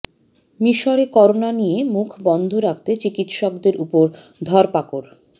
মিসরে করোনা নিয়ে মুখ বন্ধ রাখতে চিকিৎসকদের ওপর ধরপাকড়